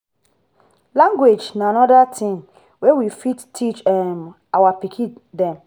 language na anoda thing wey we fit teach um our pikin dem